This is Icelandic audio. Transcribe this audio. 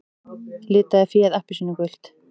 Litaði féð appelsínugult